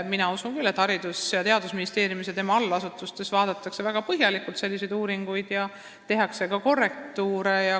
Mina tean, et Haridus- ja Teadusministeeriumis ja selle allasutustes vaadeldakse väga põhjalikult selliseid uuringuid ja tehakse ka korrektiive.